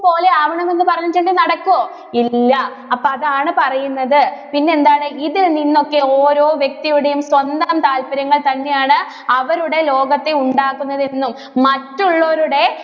പോലെ ആവണമെന്ന് പറഞ്ഞിട്ടുണ്ടെങ്കില്‍ നടക്കുവോ? ഇല്ല. അപ്പോ അതാണ് പറയുന്നത് പിന്നെ എന്താണ് ഇതില്‍ നിന്നൊക്കെ ഓരോ വ്യക്തിയുടെയും സ്വന്തം താല്പര്യങ്ങള്‍ തന്നെയാണ് അവരുടെ ലോകത്തെ ഉണ്ടാക്കുന്നത് എന്നും, മറ്റുള്ളവരുടെ